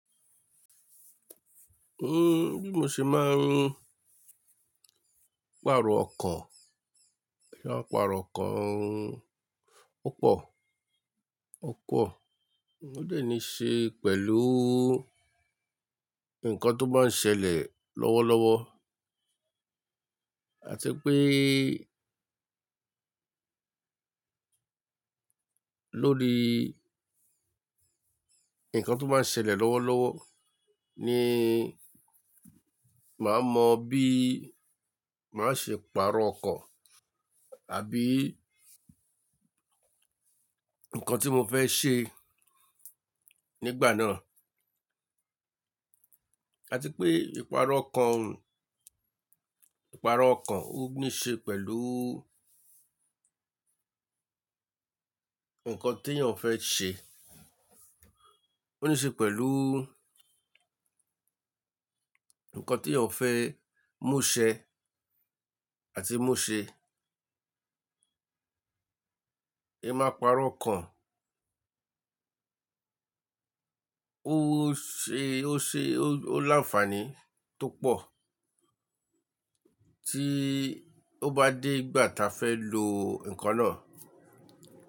N-- bí mo ṣe máa ń pàrọ̀ ọkọ̀, ìparọ̀ ọkọ̀ ọ pọ̀, ọ pọ̀, ó lè ní ṣe pẹ̀lú nǹkan tó báa ń ṣẹlẹ̀ lọ́wọ́lọ́wọ́. À ti pé lórí ǹnkan tó báa ń ṣẹlẹ̀ lọ́wọ́lọ́wọ́ ni màá mọ bí màá ṣe pààrọ̀ ọkọ̀ àbí ǹkan tí mo fẹ́ ṣe nígbà náà. À ti pé ìparọ̀ ọkan, ìparọ̀ ọkan ó ní ṣe pẹ̀lú ǹnkan tí èeyàn fẹ́ ṣe, ó ní ṣe pẹ̀lú ǹnkan tí èeyàn fẹ́ mú ṣẹ àti mú ṣe. N máa pààrọ̀ ọkan, ó ṣe, ó ṣe o, ó làǹfaàní tó pọ̀ tí ó bá dé ìgbà ta fẹ́ lo nǹkan náà.